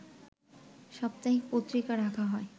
সাপ্তাহিক পত্রিকা রাখা হয়